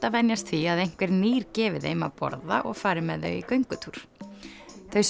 að venjast því að einhver nýr gefi þeim að borða og fari með þau í göngutúr þau